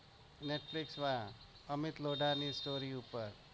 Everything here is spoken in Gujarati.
netflix માં અમિત લોઢા ની story પર